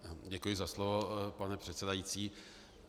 Děkuji za slovo pane předsedající.